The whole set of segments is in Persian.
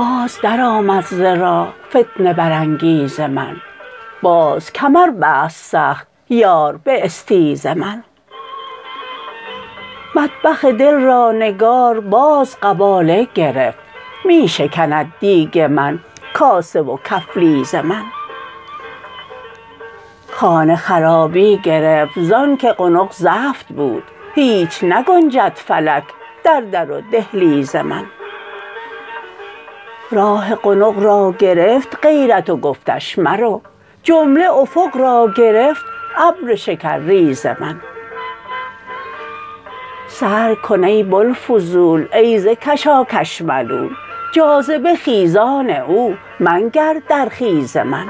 باز درآمد ز راه فتنه برانگیز من باز کمر بست سخت یار به استیز من مطبخ دل را نگار باز قباله گرفت می شکند دیگ من کاسه و کفلیز من خانه خرابی گرفت ز آنک قنق زفت بود هیچ نگنجد فلک در در و دهلیز من راه قنق را گرفت غیرت و گفتش مرو جمله افق را گرفت ابر شکرریز من سر کن ای بوالفضول ای ز کشاکش ملول جاذبه خیزان او منگر در خیز من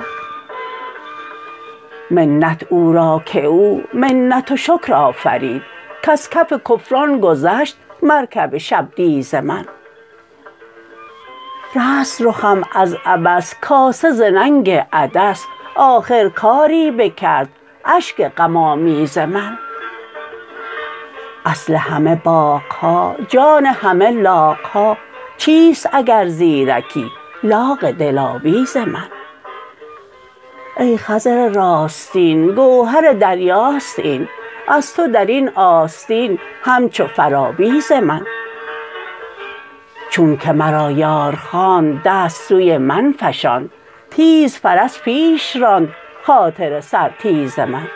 منت او را که او منت و شکر آفرید کز کف کفران گذشت مرکب شبدیز من رست رخم از عبس کاسه ز ننگ عدس آخر کاری بکرد اشک غم آمیز من اصل همه باغ ها جان همه لاغ ها چیست اگر زیرکی لاغ دلاویز من ای خضر راستین گوهر دریاست این از تو در این آستین همچو فراویز من چونک مرا یار خواند دست سوی من فشاند تیز فرس پیش راند خاطر سرتیز من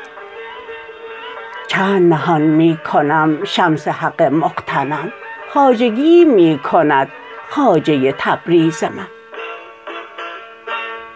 چند نهان می کنم شمس حق مغتنم خواجگیی می کند خواجه تبریز من